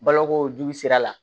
Balokojugu sira la